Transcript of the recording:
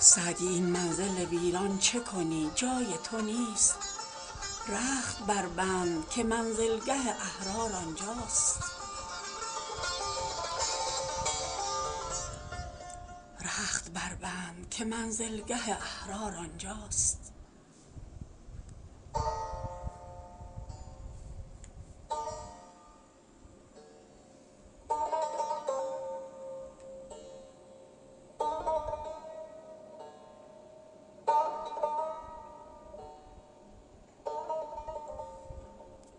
سعدی این منزل ویران چه کنی جای تو نیست رخت بربند که منزلگه احرار آنجاست